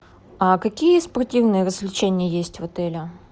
а какие спортивные развлечения есть в отеле